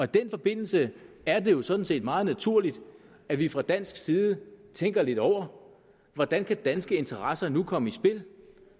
den forbindelse er det jo sådan set meget naturligt at vi fra dansk side tænker lidt over hvordan danske interesser nu kan komme i spil